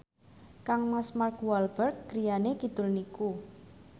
kangmas Mark Walberg griyane kidul niku